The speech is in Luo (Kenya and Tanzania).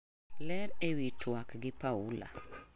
Ler ewi tuak gi Paula.